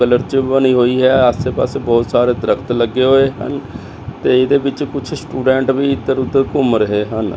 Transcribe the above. ਕਲੱਚਬ ਬਣੀ ਹੋਈ ਹੈ ਆਸੇ ਪਾਸੇ ਬਹੁਤ ਸਾਰੇ ਦਰਖੱਤ ਲੱਗੇ ਹੋਏ ਤੇ ਇਹਦੇ ਵਿੱਚ ਕੁਝ ਸਟੂਡੈਂਟ ਵੀ ਇੱਧਰ ਉਧਰ ਘੁੰਮ ਰਹੇ ਹਨ।